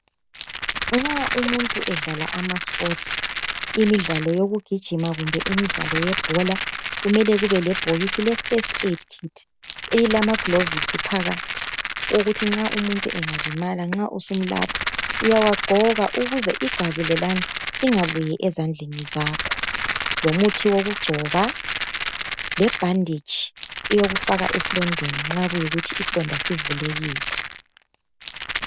Nxa umuntu edlala amasports, imidlalo yokugijima kumbe imidlalo yebhola kumele kube lebhokisi leFirst Aid Kit elamagilovisi phakathi ukuthi nxa umuntu engalimala nxa usumlapha uyawagqoka ukuze igazi lelana lingabuyi ezandleni zakho lomuthi wokugcoba lebhanditshi eyokufaka esilondeni nxa kuyikuthi isilonda sivulekile.